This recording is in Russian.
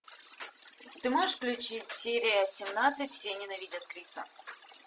ты можешь включить серия семнадцать все ненавидят криса